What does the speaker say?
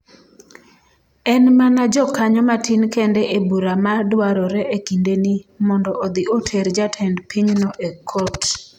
En mana jokanyo matin kende e bura ma dwarore e kindeni mondo odhi oter jatend pinyno e kot.